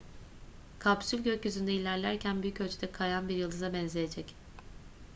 kapsül gökyüzünde ilerlerken büyük ölçüde kayan bir yıldıza benzeyecek